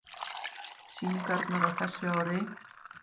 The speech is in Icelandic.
Sýningarnar á þessu ári